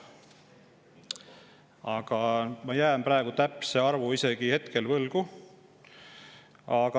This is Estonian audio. Aga ma jään praegu täpse arvu võlgu.